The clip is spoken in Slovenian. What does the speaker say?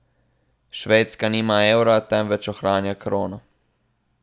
Švedska nima evra, temveč ohranja krono.